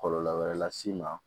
Kɔlɔlɔ wɛrɛ las'i ma